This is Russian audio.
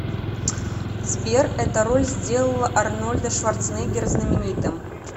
сбер эта роль сделала арнольда шварценеггера знаменитым